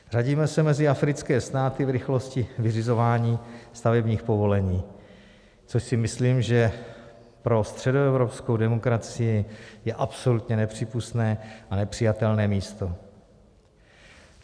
Řadíme se mezi africké státy v rychlosti vyřizování stavebních povolení, což si myslím, že pro středoevropskou demokracii je absolutně nepřípustné a nepřijatelné místo.